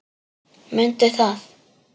Mundu það.